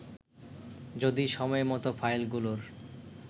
যদি সময়মত ফাইলগুলোর